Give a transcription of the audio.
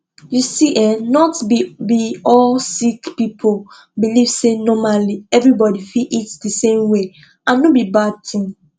you see eh not be be all sick people believe say normally everybody fit eat di same way and no be bad tin